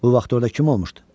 O vaxtı orda kim olmuşdu?